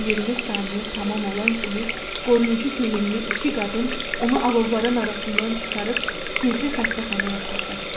20 saniyə tamam olan kimi qoruyucu geyimli iki qadın onu alovların arasından çıxarıb gizli xəstəxanaya apardı.